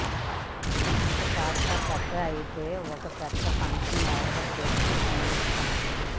ఇంకాస్త పెద్దగా అంటే ఓ పెద్ద ఫంక్షన్ ఏర్పాటు చేసి విందిస్తాం